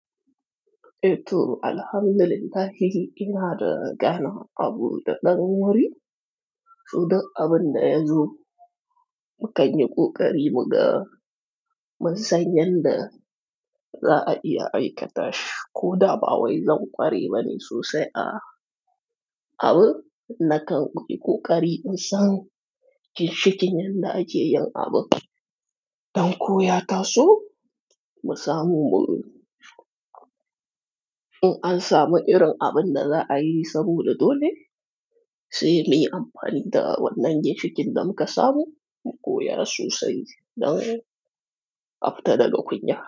E, to Alhamdulillahi, ina da gana abu da ɗan wuri, so duk abin da ya zo. Kanyi ƙoƙari mu ga mun san yanda za a iya aikata shi. Ko da ba wai zan ƙware bane sosai a abun, na kan yi ƙuƙari in san ginshikin yanda ake yin abu. Don ko ya taso, mu samu mu in an samu irin abin da za a yi saboda dole sai muyi amfani da wannan ginshikin da muka samu, mu koya sosai don a fita daga kunya.